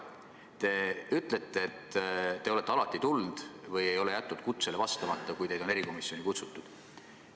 Te ütlete, et olete alati kohale tulnud või ei ole jätnud kutsele vastamata, kui teid on erikomisjoni kutsutud.